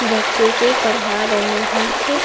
बच्चे को पढ़ाहा रहे हैं।